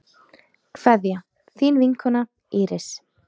Kveðja, þín vinkona Íris.